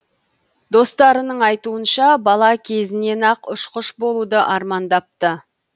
достарының айтуынша бала кезінен ақ ұшқыш болуды армандапты